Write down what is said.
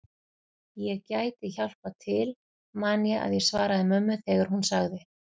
Ég gæti hjálpað til man ég að ég svaraði mömmu þegar hún sagði